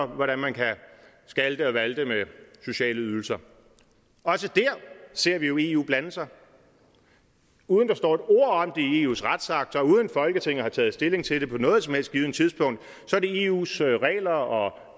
hvordan man kan skalte og valte med sociale ydelser også dér ser vi jo eu blande sig uden der står et ord om det i eus retsakt og uden folketinget har taget stilling til det på noget som helst tidspunkt er det eus regler og